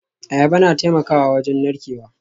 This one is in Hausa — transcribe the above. Ayaba na taimakawa wajen narkewa